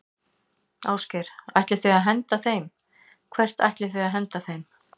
Ásgeir: Ætlið þið að henda þeim, hvert ætlið þið að henda þeim?